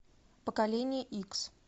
поколение икс